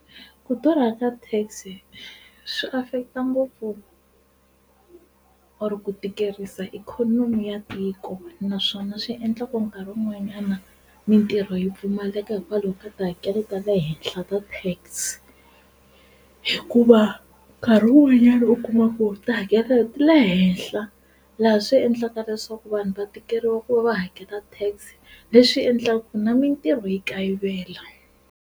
Ku durha ka Tax swi affect ngopfu or ku tikeriwa ikhonomi ya tiko naswona swi endla ku nkarhi wun'wana na mitirho yi pfumaleka hikwalaho ka tihakelo ta le henhla ta Tax hikuva nkarhi wun'wanyana u kuma ku ti hakelelo ti le henhla laha swi endlaka leswaku vanhu va tikeriwa ku va va hakela Tax leswi endlaku na mintirho yi kayivela.